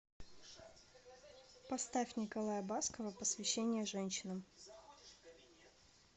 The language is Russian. поставь николая баскова посвящение женщинам